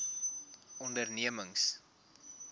ondernemings